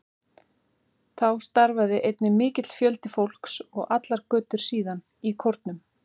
Þá starfaði einnig mikill fjöldi fólks, og allar götur síðan, í kórum.